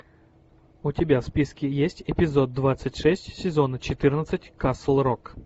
у тебя в списке есть эпизод двадцать шесть сезона четырнадцать касл рок